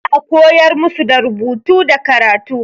Za a koyar musu da rubutu da karatu.